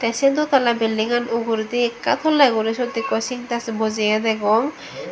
te se dotalla building gan uguredi ekka toley guri ekko sindex bojeye degong.